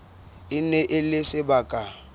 e ne e le sebaka